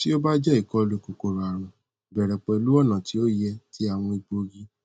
ti o ba jẹ ikolu kokoroarun bẹrẹ pẹlu ọna ti o yẹ ti awọn egboogi